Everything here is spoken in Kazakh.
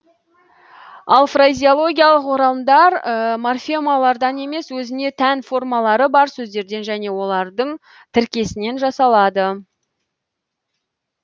ал фразеологиялық оралымдар морфемалардан емес өзіне тән формалары бар сөздерден және олардың тіркесінен жасалады